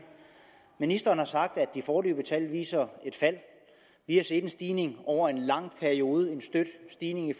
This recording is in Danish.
ministeren har sagt at de foreløbige tal viser et fald vi har set en stigning over en lang periode en støt stigning i